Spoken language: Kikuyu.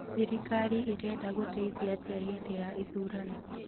Thirikari ĩrenda gũteithiaatĩa hĩndĩ ya ithurano?